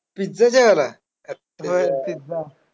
Pizza जेवायला? खतरनाक.